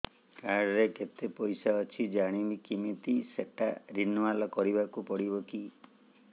card ରେ କେତେ ପଇସା ଅଛି ଜାଣିବି କିମିତି ସେଟା ରିନୁଆଲ କରିବାକୁ ପଡ଼ିବ କି